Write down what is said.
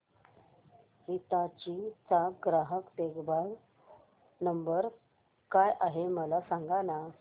हिताची चा ग्राहक देखभाल नंबर काय आहे मला सांगाना